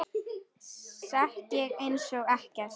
Sekk ég einsog ekkert.